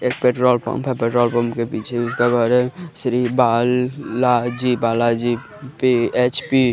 एक petrol pump है petrol pump के पीछे उसका घर है Shri Balaji Balaji P H P --